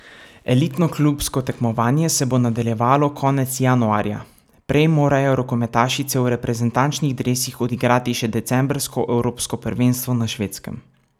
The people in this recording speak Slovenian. Elitno klubsko tekmovanje se bo nadaljevalo konec januarja, prej morajo rokometašice v reprezentančnih dresih odigrati še decembrsko evropsko prvenstvo na Švedskem.